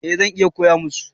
Eh zan iya koya musu